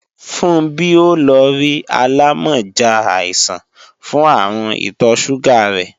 Funbí ó lọ rí alámọ̀já àìsàn fún àrùn ìtọ̀ sùgà rẹ́